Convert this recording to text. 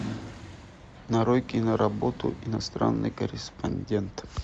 нарой киноработу иностранный корреспондент